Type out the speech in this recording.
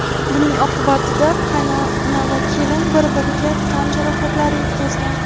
Buning oqibatida qaynona va kelin bir-birlariga tan jarohatlari yetkazgan.